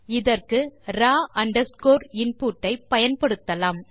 இதற்கு raw underscore input ஐ பயன்படுத்தலாம்